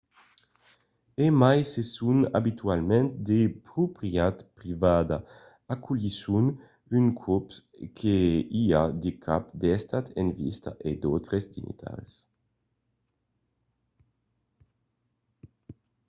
e mai se son abitualament de proprietat privada aculhisson d’unes còps que i a de caps d’estat en visita e d’autres dignitaris